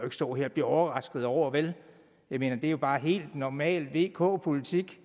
stå her og blive overrasket over vel jeg mener det er jo bare helt normal vk politik